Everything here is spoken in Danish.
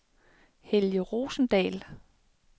Helge Rosendahl